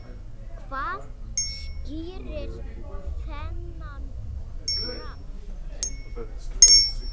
Hvað skýrir þennan kraft?